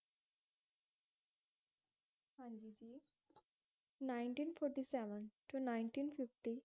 ninteen forty seven ਤੋਂ ninteen fifty